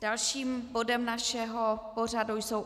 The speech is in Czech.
Dalším bodem našeho pořadu jsou